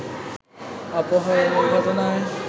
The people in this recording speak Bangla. অপহরণের ঘটনায়